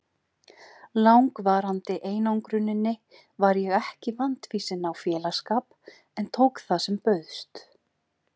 langvarandi einangruninni var ég ekki vandfýsin á félagsskap en tók það sem bauðst.